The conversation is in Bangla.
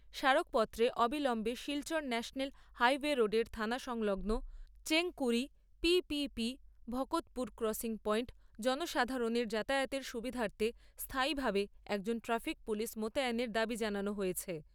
স্মারকপত্রে অবিলম্বে শিলচর ন্যাশনাল হাইওয়ে রোডের থানা সংলগ্ন Chengkuri P P P Bhakatpur crossing পয়েন্টে জনসাধারনের যাতায়াতের সুবিধার্থে স্থায়ীভাবে একজন ট্রাফিক পুলিশ মোতায়নের দাবী জানানো হয়েছে।